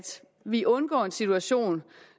vi undgår en situation